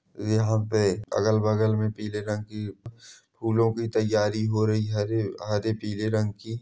यहाँ पे अगल बगल में पिले रंग की फूलो की तैयारी हो रही है हरे हरे पिले रंग की--